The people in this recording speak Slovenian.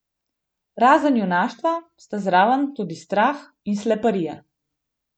Razen junaštva sta zraven tudi strah in sleparija.